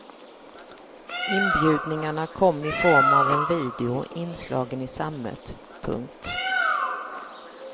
Inbjudningarna kom i form av en video inslagen i sammet. punkt